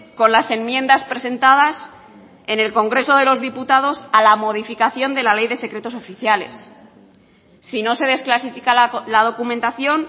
con las enmiendas presentadas en el congreso de los diputados a la modificación de la ley de secretos oficiales si no se desclasifica la documentación